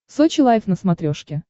сочи лайв на смотрешке